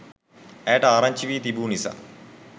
ඇයට ආරංචි වී තිබු නිසා